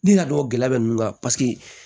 Ni ka dɔgɔ gɛlɛya bɛ nunnu kan paseke